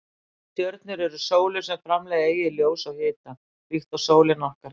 Stjörnur eru sólir sem framleiða eigið ljós og hita líkt og sólin okkar gerir.